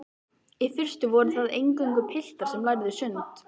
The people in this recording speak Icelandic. Í fyrstu voru það eingöngu piltar sem lærðu sund.